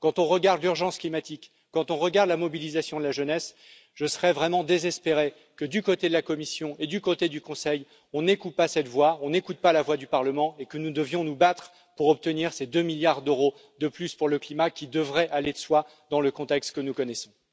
Quand on regarde l'urgence climatique, quand on regarde la mobilisation de la jeunesse, je serais vraiment désespéré que, du côté de la Commission et du côté du Conseil, on n'écoute pas cette voix, qu'on n'écoute pas la voix du Parlement et que nous devions nous battre pour obtenir ces deux milliards d'euros de plus pour le climat qui devraient aller de soi, dans le contexte que nous connaissons.